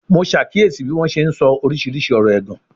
Mo ṣàkíyèsí bí wọ́n ṣe ń sọ oríṣiríṣi ọ̀rọ̀ ẹ̀gàn